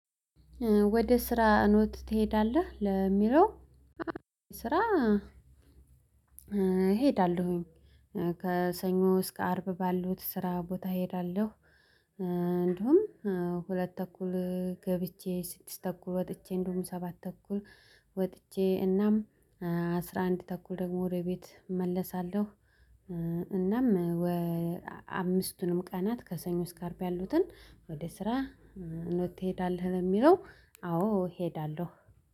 ወደ ስራ ኖት ትሄዳለህ ለሚለው? ስራ አ እሄዳለሁኝ እ ከሰኞ እስከ አርብ ባሉት ስራ ቦታ እሄዳለሁ። እ እንዲሁም ሁለት ተኩል ገብቼ ስድስት ተኩል ወጥቼ እንደውም ሰባት ተኩል ወጥቼ እናም አስራ አንድ ተኩል ደግሞ ወደ ቤት እመለሳለሁ። እእ እናም ወ አምስቱንም ቀናት ከሰኞ እስከ አርብ ያሉትን ወደ ስራ እንድትሄድ አለህ የሚለው? አዎ እሄዳለሁ